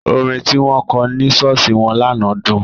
Orin tí wọ́n kọ ní ṣọ́ọ̀ṣì wọn lánàá dùn.